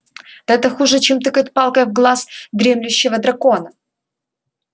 да это хуже чем тыкать палкой в глаз дремлющего дракона